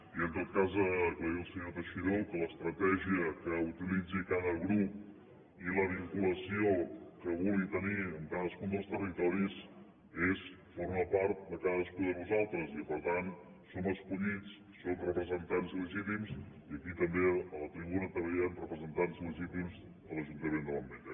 i en tot cas aclarir al senyor teixidó que l’estratègia que utilitzi cada grup i la vinculació que vulgui tenir amb cadascun dels territoris són formen part de cadascú de nosaltres i que per tant som escollits som representants legítims i aquí també a la tribuna també hi han representants legítims de l’ajuntament de l’ametlla